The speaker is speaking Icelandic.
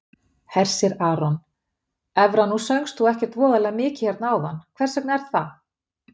Hersir Aron: Evra nú söngst þú ekkert voðalega mikið hérna áðan, hvers vegna er það?